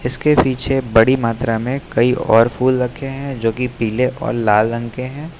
इसके पीछे बड़ी मात्रा में कई और फूल रखे है जो कि पीले और लाल रंग के है।